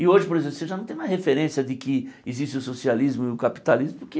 E hoje por exemplo você já não tem mais referência de que existe o socialismo e o capitalismo porque